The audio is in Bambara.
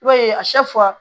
I b'a ye a